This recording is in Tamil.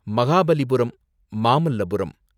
மகாபலிபுரம், மாமல்லபுரம்